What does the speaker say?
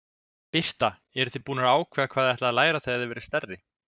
Birta: Eruð þið búnar að ákveða hvað þið ætlið að læra þegar þið verðið stærri?